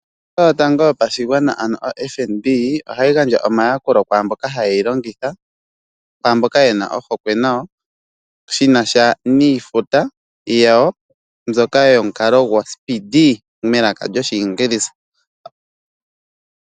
Ombaanga yotango yopashigwana ano o FNB, ohayi gandja omayakulo kwaamboka haye yi longitha, kwaamboka yena ohokwe nayo, shinasha niifuta yawo mbyoka yomukalo gwoSpeedee, melaka lyoshiingilisa.